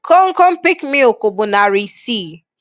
Komkom peak milk bụ nari isii.